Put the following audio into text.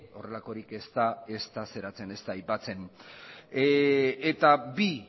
horrelakorik ez da aipatzen eta bi